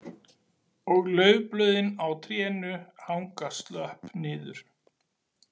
Og laufblöðin á trénu hanga slöpp niður